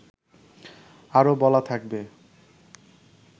আরও বলা থাকবে